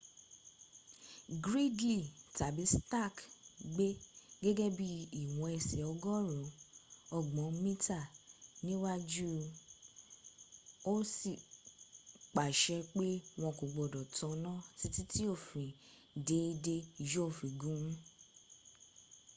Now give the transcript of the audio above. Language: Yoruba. gridley tàbí stark gbé gègé bí i ìwọn ẹsẹ̀ ọgọ́rùn ún ọgbọ̀n mítà níwájú ósì pàṣẹ pé wọn kò gbọdọ̀ tanná títí tí òfin déédé yóó fi gùn ún